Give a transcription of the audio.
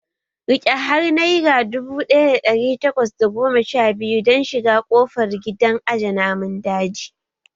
Riƙe har naira dubu ɗaya da ɗari takwas da goma sha biyu don shiga ƙofar gidan aje namun daji